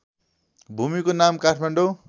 भूमिको नाम काठमाडौँ